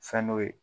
Fɛn dɔ ye